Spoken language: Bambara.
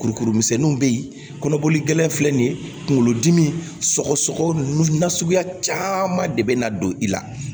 Kurukuru misɛnninw bɛ ye kɔnɔboli gɛlɛn filɛ nin ye kunkolodimi sɔgɔsɔgɔ ninnu nasuguya caman de bɛ na don i la